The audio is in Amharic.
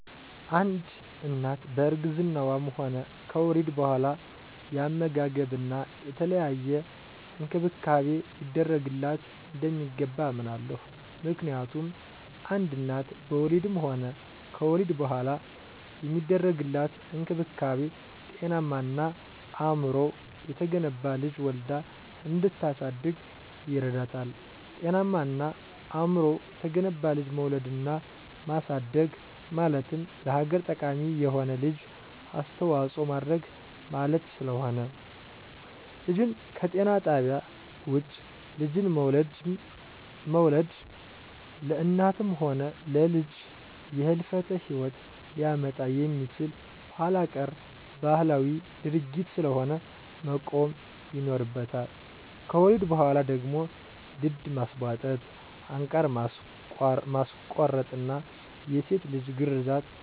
አንድ እናት በእርግዝናዋም ሆነ ከወሊድ በኋላ የአመጋገብና የተለያየ እንክብካቤ ሊደረግላት እንደሚገባ አምናለሁ። ምክንያቱም አንድ እናት በወሊድም ሆነ ከወሊድ በኋላ የሚደረግላት እንክብካቤ ጤናማና አእምሮው የተገነባ ልጅ ወልዳ እንድታሳድግ ይረዳታል። ጤናማና አእምሮው የተገነባ ልጅ መውለድና ማሳደግ ማለት ለሀገር ጠቃሚ የሆነ ልጅ አስተዋጽኦ ማድረግ ማለት ስለሆነ። ልጅን ከጤና ጣቢያ ውጭ ልጅን መውለድ ለእናትም ሆነ ለልጅ የህልፈተ ሂወት ሊያመጣ የሚችል ኋላቀር ባህላዊ ድርጊት ስለሆነ መቆም ይኖርበታል። ከወሊድ በኋላ ደግሞ ድድ ማስቧጠጥ፣ አንቃር ማስቆረጥና የሴት ልጅ ግርዛት ባህላዊና ጎጅ ድርጊት ስለሆነ መቆም አለበት ብየ አምናለሁ።